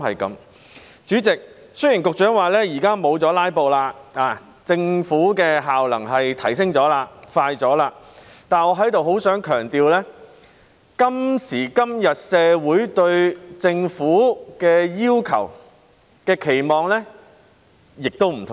主席，雖然局長表示現在沒有"拉布"，政府的效能已提升了、辦事快了，但在這裏，我很想強調，今時今日社會對政府的要求和期望已有所不同。